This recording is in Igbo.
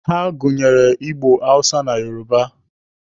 Ha gụnyere Igbo, Hausa na Yoruba.